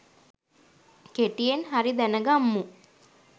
කෙටියෙන් හරි දැන ගම්මු